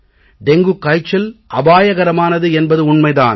dengue காய்ச்சல் அபாயகரமானது என்பது உண்மை தான்